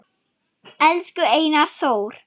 Elsku Einar Þór